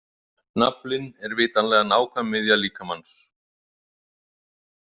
Naflinn er vitanlega nákvæm miðja líkamans.